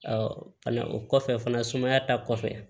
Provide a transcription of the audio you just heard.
fɛnɛ o kɔfɛ fana sumaya ta kɔfɛ